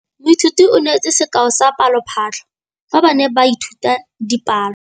Moithuti o neetse sekaô sa palophatlo fa ba ne ba ithuta dipalo.